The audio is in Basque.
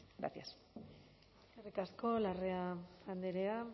gracias eskerrik asko larrea andrea